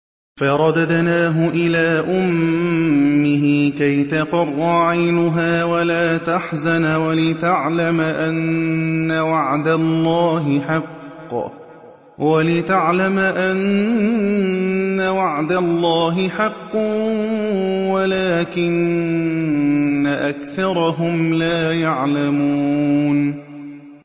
فَرَدَدْنَاهُ إِلَىٰ أُمِّهِ كَيْ تَقَرَّ عَيْنُهَا وَلَا تَحْزَنَ وَلِتَعْلَمَ أَنَّ وَعْدَ اللَّهِ حَقٌّ وَلَٰكِنَّ أَكْثَرَهُمْ لَا يَعْلَمُونَ